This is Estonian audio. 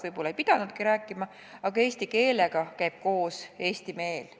Võib-olla ei pidanudki rääkima, aga eesti keelega käib koos eesti meel.